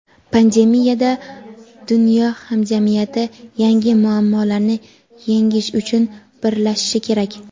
pandemiyada dunyo hamjamiyati yangi muammolarni yengish uchun birlashishi kerak.